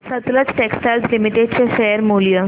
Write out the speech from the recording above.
Sutlej textiles limited चे share मूल्य